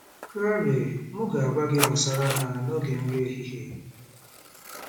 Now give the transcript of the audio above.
Claire: M ga-agwa gị gbasara ha n'oge nri ehihie.